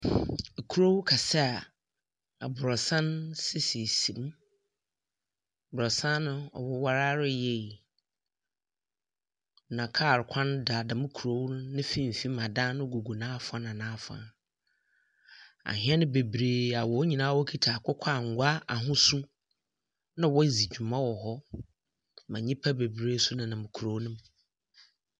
Kurow kɛse a abrosan sisisisi mu. Abrosan no ɔwɔware ara yie. Na kaar kwan da dɛm korow no ne mfimfini na adan no gugu n’afa n’afa. Ahɛn bebree a wɔn nyinaa kita akokɔ angwa n’ahosu na wɔdzi dwuma wɔ hɔ, ma nyimpa bebree nso nenam kurow no mu.